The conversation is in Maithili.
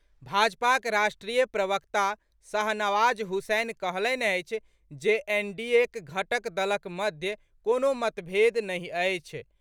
भाजपाक राष्ट्रीय प्रवक्ता शाहनवाज हुसैन कहलनि अछि जे एनडीएक घटक दलक मध्य कोनो मतभेद नहि अछि।